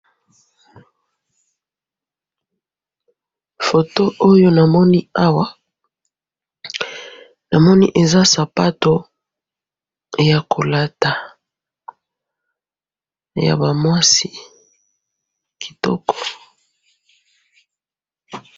Eloko na moni awa, eza sapato ya ba mwasi ya kolata ya kitoko.